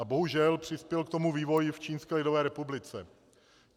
A bohužel přispěl k tomu vývoj v Čínské lidové republice.